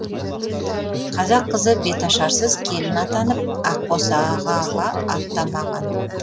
қазақ қызы беташарсыз келін атанып ақ босағаға аттамаған